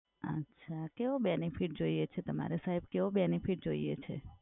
અચ્છા કેવો benefit જોઈએ છે તમારે સાહેબ? કેવો benefit જોઈએ છે?